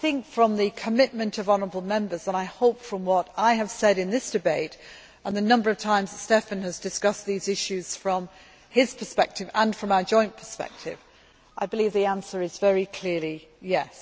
From the commitment of honourable Members and, I hope from what I have said in this debate and the number of times Štefan has discussed these issues from his perspective and from our joint perspective, I believe the answer is very clearly yes'.